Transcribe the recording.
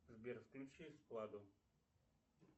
сбер включи эскладу